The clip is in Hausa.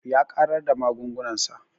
Ya ƙarar da magungunan sa